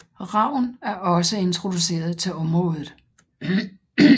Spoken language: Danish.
Ravn er også introduceret til området